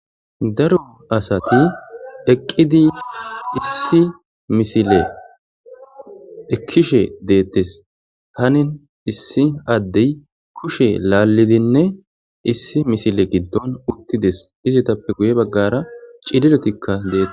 Daro asati eqqidi issi misile ekkishe deettes tanin issi addey kushe laallidinne issi misile giddon uttides izitappe guye baggara cidilotikka deetes